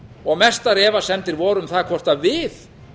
og mestar efasemdir voru um það hvort við